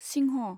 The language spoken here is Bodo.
सिंह'